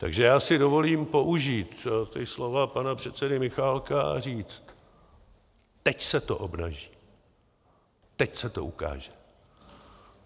Takže já si dovolím použít ta slova pana předsedy Michálka a říct: Teď se to obnaží, teď se to ukáže.